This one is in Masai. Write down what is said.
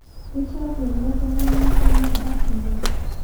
Keishapu eele tungani emada oleng